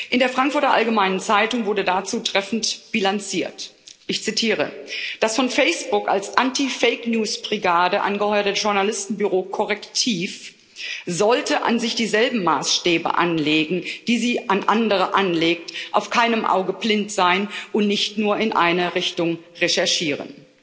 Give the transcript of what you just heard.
In der Frankfurter Allgemeinen Zeitung wurde dazu treffend bilanziert ich zitiere Das von Facebook als Anti Fake News Brigade angeheuerte Journalistenbüro Correctiv sollte an sich dieselben Maßstäbe anlegen, die es an andere anlegt, auf keinem Auge blind sein und nicht nur in eine Richtung recherchieren.